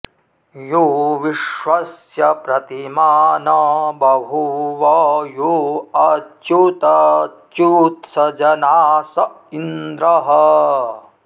यो विश्व॑स्य प्रति॒मानं॑ ब॒भूव॒ यो अ॑च्युत॒च्युत्स ज॑नास॒ इन्द्रः॑